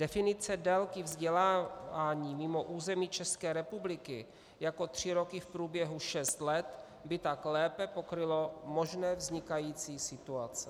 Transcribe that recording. Definice délky vzdělávání mimo území České republiky jako tři roky v průběhu šest let by tak lépe pokryla možné vznikající situace.